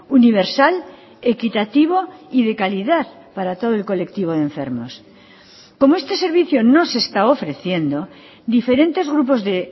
universal equitativo y de calidad para todo el colectivo de enfermos como este servicio no se está ofreciendo diferentes grupos de